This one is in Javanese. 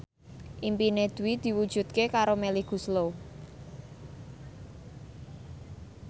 impine Dwi diwujudke karo Melly Goeslaw